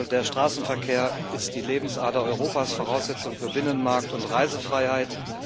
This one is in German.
Der Straßenverkehr ist die Lebensader Europas, Voraussetzung für Binnenmarkt und Reisefreiheit.